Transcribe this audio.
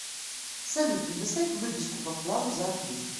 салют предоставь выписку по вкладу за апрель